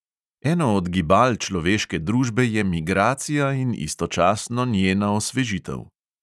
Eno od gibal človeške družbe je migracija in istočasno njena osvežitev.